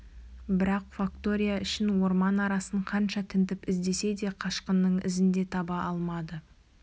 бірақ фактория ішін орман арасын қанша тінтіп іздесе де қашқынның ізін де таба алмады